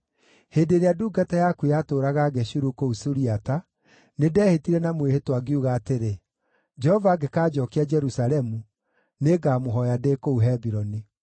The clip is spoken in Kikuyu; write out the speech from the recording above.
Hĩndĩ ĩrĩa ndungata yaku yatũũraga Geshuru kũu Suriata, nĩndehĩtire na mwĩhĩtwa ngiuga atĩrĩ, ‘Jehova angĩkanjookia Jerusalemu, nĩngamũhooya ndĩ kũu Hebironi.’ ”